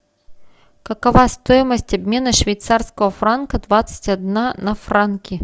какова стоимость обмена швейцарского франка двадцать одна на франки